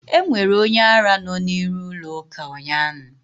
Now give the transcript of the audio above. Enwere onye ara no n'iru ụlọ ụka ụnyaahụ